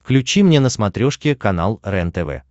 включи мне на смотрешке канал рентв